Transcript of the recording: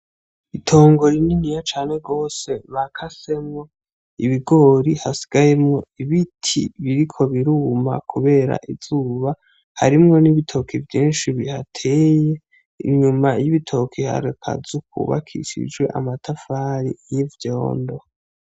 Itongo rininiya cane gose bakasemwo ibigori hasigayemwo ibiti biriko biruma kubera izuba harimwo n'ibitoki vyishi bihateye inyuma y'ibitoki hari akazu kubakishije amatafari y'ivyondo.